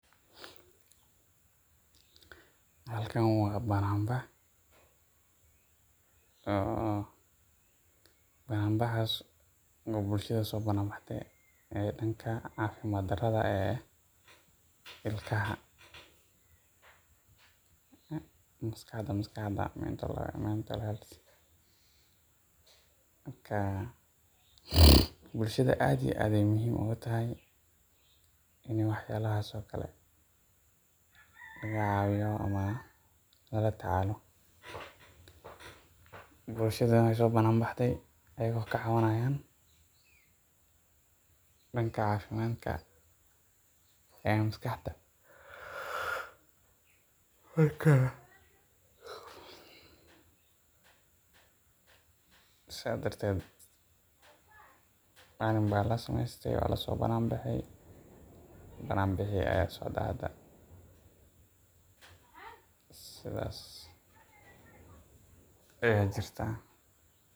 Halkan waa banaan bax, banaan baxaas oo bulshada soo banaan baxde danka cafimaad darida ee ilkaha, maskaxda mental health marka, bulshada aad iyo aad ayeey muhiim oogu tahay in la caawiyo ama lala dadaalo, bulshada waay soo banaan baxde ayago ka cawanayaan danka cafimaadka ee maskaxda, marka saas darteed waa lasoo banaan bexe, banaan bixi ayaa socdaa hada, sidaas ayaa jirtaa.